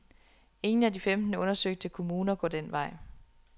Ingen af de femten undersøgte kommuner går den vej.